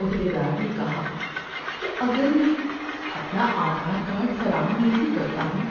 عہدیدار نے کہا کہ اگر میں اپنا آدھار کارڈ فراہم نہیں کرتا ہوں